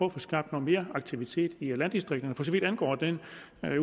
at få skabt mere aktivitet i landdistrikterne for så vidt angår den